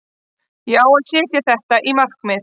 Ég á að setja þetta í markið.